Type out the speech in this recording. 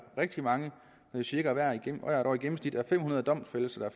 rigtig mange cirka fem hundrede domfældelser